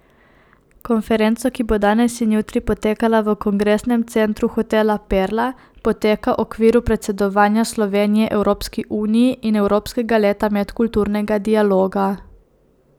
Konferenco, ki bo danes in jutri potekala v kongresnem centru hotela Perla, poteka okviru predsedovanja Slovenije Evropski uniji in Evropskega leta medkulturnega dialoga.